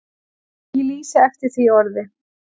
Ég lýsi eftir því orði.